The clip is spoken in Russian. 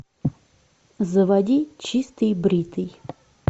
заводи чистый бритый